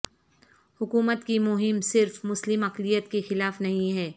حکومت کی مہم صرف مسلم اقلیت کے خلاف نہیں ہے